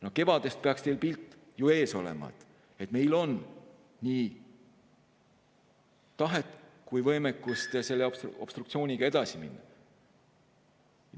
No kevadest peaks teil ju pilt ees olema, et meil on nii tahet kui ka võimekust selle obstruktsiooniga edasi minna.